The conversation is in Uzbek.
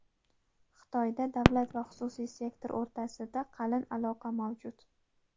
Xitoyda davlat va xususiy sektor o‘rtasida qalin aloqa mavjud.